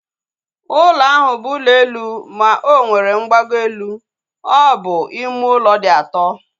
Ụlọ ahụ bụ ụlọ elu ma onwere mgbago elu. Ọ bụ ime ụlọ dị ato